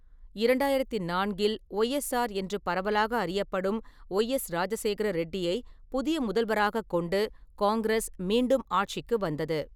இரண்டாயிரத்து நான்கில் ஒய்எஸ்ஆர் என்று பரவலாக அறியப்படும் ஒய்எஸ் ராஜசேகர ரெட்டியைப் புதிய முதல்வராகக் கொண்டு காங்கிரஸ் மீண்டும் ஆட்சிக்கு வந்தது.